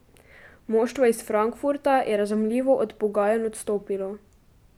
Moštvo iz Frankfurta je razumljivo od pogajanj odstopilo.